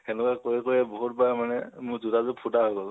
হেনেকোৱা কৰি কৰি বাহুত বাৰ মানে মোৰ জোতাযোৰ ফুতা গল